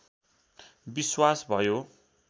विश्वास भयो